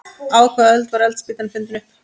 Á hvaða öld var eldspýtan fundin upp?